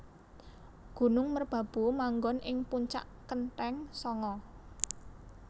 Gunung merbabu manggon ing puncak kenthéng sanga